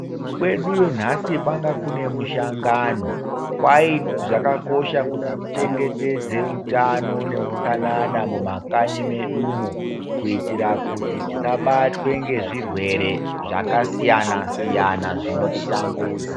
Kweduyo nhasi kwanga kune mushangano, kwayi zvakakosha kuti tichengetedze utano neutsanana mumakanyi medumo kuitira kuti tisabatwe ngezvirwere zvakasiyana -siyana zvinotitambudzaa.